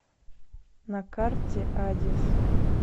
на карте адис